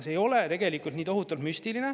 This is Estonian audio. See ei ole tegelikult nii tohutult müstiline.